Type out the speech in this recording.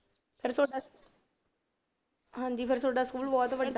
ਫਿਰ ਤੁਹਾਡਾ ਹਾਂਜੀ ਫਿਰ ਤੁਹਾਡਾ ਸਕੂਲ ਬਹੁਤ ਵੱਡਾ,